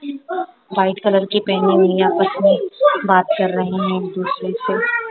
White colour के पेहने हुए है आपस में बात कर रहे है एक दूसरे से।